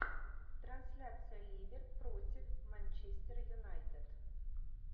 трансляция ливер против манчестер юнайтед